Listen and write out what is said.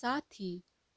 साथ ही